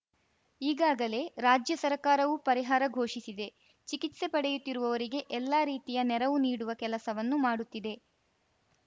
ಈಗಾಗಲೇ ರಾಜ್ಯ ಸರ್ಕಾರವು ಪರಿಹಾರ ಘೋಷಿಸಿದೆ ಚಿಕಿತ್ಸೆ ಪಡೆಯುತ್ತಿರುವವರಿಗೆ ಎಲ್ಲಾ ರೀತಿಯ ನೆರವು ನೀಡುವ ಕೆಲಸವನ್ನು ಮಾಡುತ್ತಿದೆ